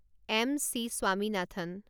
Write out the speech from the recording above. M. C Swaminathan